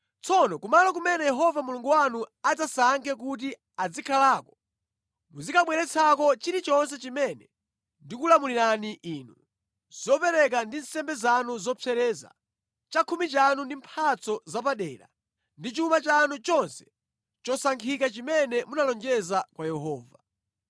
Tsono kumalo kumene Yehova Mulungu wanu adzasankhe kuti azikhalako muzikabweretsako chilichonse chimene ndikulamulirani inu: zopereka ndi nsembe zanu zopsereza, chakhumi chanu ndi mphatso zapadera, ndi chuma chanu chonse chosankhika chimene munalonjeza kwa Yehova.